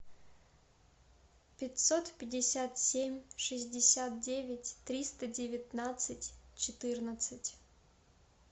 пятьсот пятьдесят семь шестьдесят девять триста девятнадцать четырнадцать